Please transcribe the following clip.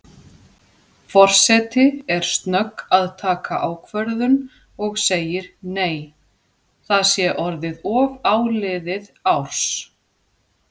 Forseti er snögg að taka ákvörðun og segir nei, það sé orðið of áliðið árs.